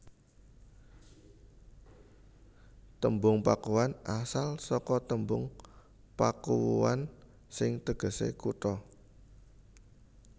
Tembung Pakuan asal saka tembung Pakuwuan sing tegesé kutha